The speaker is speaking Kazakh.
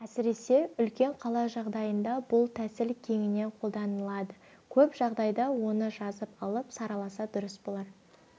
әсіресе үлкен қала жағдайында бұл тәсіл кеңінен қолданылады көп жағдайда оны жазып алып сараласа дұрыс болар